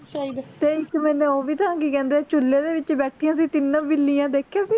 ਤੇ ਇੱਕ ਮੈਂਨੂੰ ਓਹ ਵੀ ਤਾਂ ਕਿ ਕਹਿੰਦੇ ਚੁੱਲ੍ਹੇ ਦੇ ਵਿੱਚ ਬੈਠੀਆਂ ਸੀ ਤਿੰਨੋ ਬਿੱਲੀਆਂ ਦੇਖੀਆਂ ਸੀ